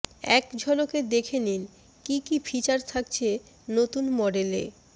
এক ঝলকে দেখে নিন কী কী ফিচার থাকছে নতুন মডেলে